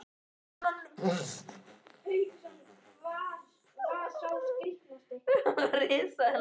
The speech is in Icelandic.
Ráðleysislega ber hún hönd fyrir augu.